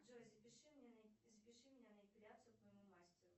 джой запиши меня на эпиляцию к моему мастеру